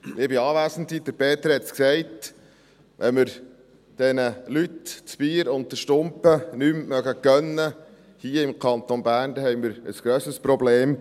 Peter Gerber hat es gesagt: Wenn wir hier im Kanton Bern diesen Leuten das Bier und den Stumpen nicht mehr gönnen, dann haben wir ein grösseres Problem.